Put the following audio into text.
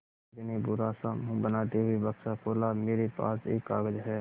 मुखर्जी ने बुरा सा मुँह बनाते हुए बक्सा खोला मेरे पास एक कागज़ है